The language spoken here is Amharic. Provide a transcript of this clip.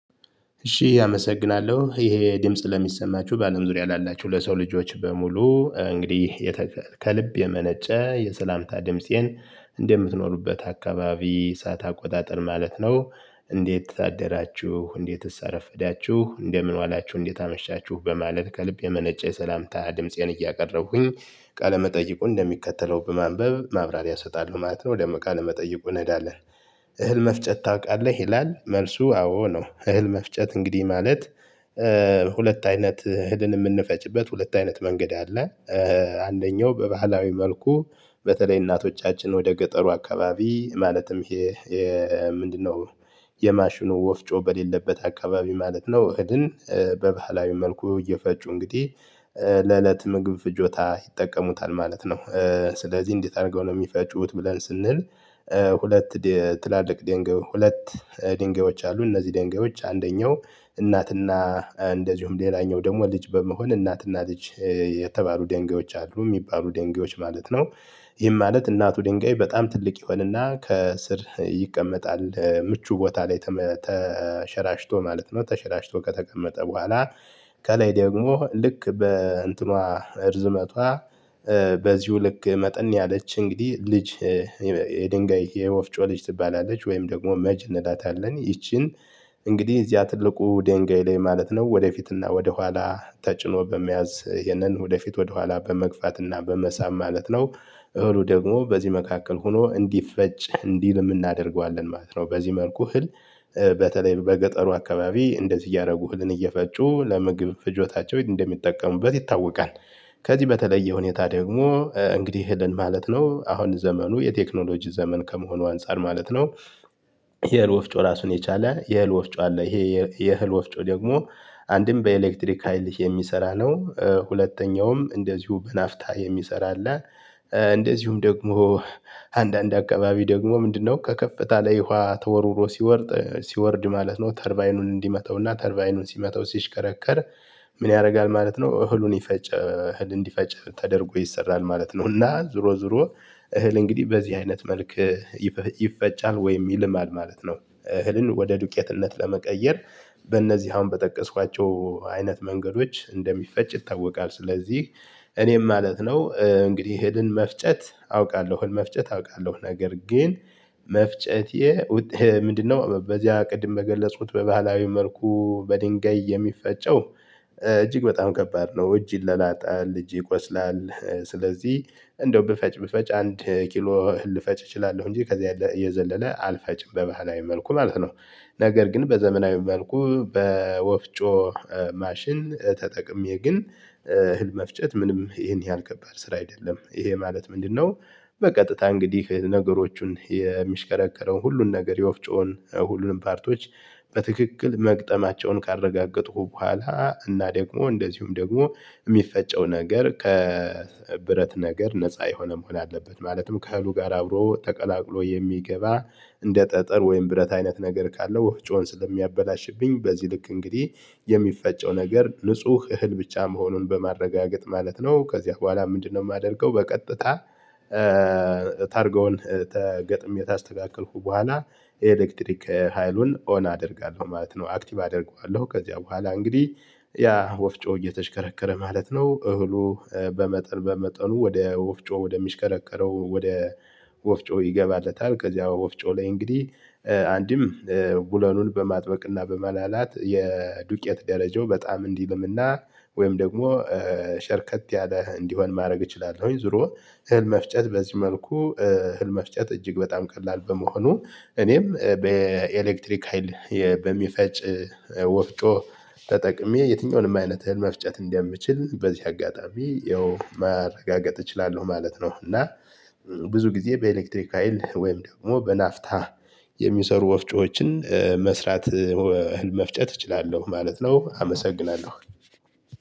እሺ አመሰግናለሁ ይሄ ድምጽ ለሚሰማችሁ በአለም ዙሪያ ላላችሁ ለሰው ልጆች በሙሉ እንግዲህ ከልብ የመነጨ የሰላምታ ድምፄን እንደምትኖሩበት አካባቢ ሰዓት አቆጣጥር ማለት ነው። እንዴት አደራችሁ እንዴትስ አረፈዳችሁ እንደምን ዋላችሁ እንዴት አመሻችሁ በማለት ከልብ የመነጨ የሰላምታ ድምፄን እያቀረብኩኝ ቃለ መጠይቁን እንደሚከተለው በማንበብ ማብራሪያ እሰጣለሁ ማለት ነው። ወደ መቃል መጠየቁ እንሄዳለን። እህል መፍጨት ታውቃለህ? ይላል መልሱ አዎ ነው። እህል መፍጨት እንግዲህ ማለት ሁለት አይነት እህልን የምንፈጭበት ሁለት አይነት መንገድ አለ። አንደኛው በባህላዊ መልኩ በተለይ እናቶቻችን ወደ ገጠሩ አካባቢ ማለትም ይሄ ምንድነው? የማሽኑ ወፍጮ በሌለበት አካባቢ ማለት ነው። እህልን በባህላዊ መልኩ እየፈጩ እንግዲህ ለእለት ምግብ ፍጆታ ይጠቀሙታል ማለት ነው። ስለዚህ እንዴት አድርገው ነው የሚፈጩት ብለን ስንል። ሁለት ትላልቅ ድንጋይ ሁለት ድንጋዮች አሉ። እነዚህ ድንጋዮች አንደኛው እናትና እንደዚሁም ሌላኛው ደግሞ ልጅ በመሆን እናትና ልጅ የተባሉ ደንጋዮች አሉ የሚባሉ ደንጋዮች ማለት ነው። ይህም ማለት እናቱ ድንጋይ በጣም ትልቅ ይሆንና ከስር ይቀመጣል ምቹ ቦታ ላይ ተሸራሽቶ ማለት ነው ተሸራሽቶ ከተቀመጠ በኋላ። ከላይ ደግሞ ልክ በእንትኗ እርዝመቷ በዚሁ ልክ መጠን ያለች እንግዲህ ልጅ። የድንጋይ የወፍጮ ልጅ ትባላለች ወይም ደግሞ መጅን እንላታለን ይቺን። እንግዲህ እዚያ ትልቁ ድንጋይ ላይ ማለት ነው ወደፊትና ወደኋላ ተጭኖ በመያዝ ይሄንን ወደፊት ወደኋላ በመግፋትና በመሳብ ማለት ነው። እህሉ ደግሞ በዚህ መካከል ሆኖ እንዲፈጭ እንዲልም እናደርገዋለን ማለት ነው። በዚህ መልኩ እህል በተለይ በገጠሩ አካባቢ እንደዚህ እያደረጉ እህልን እየፈጩ ለምግብ ፍጆታቸው እንደሚጠቀሙበት ይታወቃል። ከዚህ በተለየ ሁኔታ ደግሞ እንግዲህ ይሄን ማለት ነው አሁን ዘመኑ የቴክኖሎጂ ዘመን ከመሆኑ አንፃር ማለት ነው። የህል ወፍጮ ራሱን የቻለ የህል ወፍጮ አለ ይሄ የህል ወፍጮ ደግሞ አንድም በኤሌክትሪክ ሃይልህ የሚሰራ ነው። ሁለተኛውም እንደዚሁ በናፍታ የሚሰራ አለ። እንደዚሁም ደግሞ አንዳንድ አካባቢ ደግሞ ምንድነው? ከከፍታ ላይ ውሃ ተወርውሮ ሲወርድ ሲወርድ ማለት ነው ተርባይኑን እንዲመተውና ተርባይኑን ሲመተው ሲሽከረከር። ምን ያደርጋል ማለት ነው? እህሉን ይፈጨ እህል እንዲፈጭ ተደርጎ ይሰራል ማለት ነው። እና ዞሮ ዞሮ እህል እንግዲህ በዚህ አይነት መልክ። ይፈጫል ወይ ይልማል ማለት ነው። እህልን ወደ ዱቄትነት ለመቀየር በእነዚህ አሁን በጠቀስኳቸው አይነት መንገዶች እንደሚፈጭ ይታወቃል። ስለዚህ እኔም ማለት ነው እንግዲህ እህልን መፍጨት አውቃለሁ እህል መፍጨት አውቃለሁ ነገር ግን። መፍጨቴ ውጤ ምንድነው? በዚያ ቅድም በገለጹት በባህላዊ መልኩ በድንጋይ የሚፈጨው። እጅግ በጣም ከባድ ነው እጅ ይለላጣል እጅ ይቆስላል። ስለዚህ እንደው ብፈጭ ብፈጭ አንድ ኪሎ ልፈጭ እችላለሁ እንጂ ከዛ የዘለለ አልፈጭም በባህላዊ መልኩ ማለት ነው። ነገር ግን በዘመናዊ መልኩ በወፍጮ ማሽን ተጠቅሜ ግን እህል መፍጨት ምንም ይሄን ያህል ከባድ ስራ አይደለም። ይሄ ማለት ምንድነው? በቀጥታ እንግዲህ ነገሮቹን የሚሽከረከረው ሁሉን ነገር የወፍጮውን ሁሉንም ፓርቶች በትክክል መግጠማቸውን ካረጋገጥኩ በኋላ እና ደግሞ እንደዚሁም ደግሞ የሚፈጨው ነገር ከብረት ነገር ነፃ የሆነ መሆን አለበት። ማለትም ከእህሉ ጋር አብሮ ተቀላቅሎ የሚገባ እንደ ጠጠር ወይም ብረት አይነት ነገር ካለው ወፍጮን ስለሚያበላሽብኝ በዚህ ልክ እንግዲህ የሚፈጨው ነገር ንጹህ እህል ብቻ መሆኑን በማረጋገጥ ማለት ነው። ከዚያ በኋላ ምንድነው? የማደርገው በቀጥታ ታርገውን ተገጥሜ ታስተካክልኩ በኋላ ኤሌክትሪክ ሀይሉን ኦን አደርጋለሁ ማለት ነው። አክቲቭ አደርገዋለሁ ከዚያ በኋላ እንግዲህ ያ ወፍጮ እየተሽከረከረ ማለት ነው። እህሉ በመጠን በመጠኑ ወደ ወፍጮ ወደሚሽከረከረው ወደ ወፍጮ። ከዚያ ወፍጮ ላይ እንግዲህ አንድም ቡለኑን በማጥበቅና በማላላት የዱቄት ደረጃው በጣም እንዲልምና ወይም ደግሞ ሸርከት ያለ እንዲሆን ማድረግ እችላለሁኝ። ዙሮ እህል መፍጨት በዚህ መልኩ እህል መፍጨት እጅግ በጣም ቀላል በመሆኑ። እኔም በኤሌክትሪክ ሀይል በሚፈጭ ወፍጮ ተጠቅሜ የትኛውንም አይነት እህል መፍጨት እንደምችል በዚህ አጋጣሚ ያው ማረጋገጥ እችላለሁ ማለት ነው። እና ብዙ ጊዜ በኤሌክትሪክ ሀይል ወይም ደግሞ በናፍታ የሚሰሩ ወፍጮዎችን መስራት መፍጨት እችላለሁ ማለት ነው። አመሰግናለሁ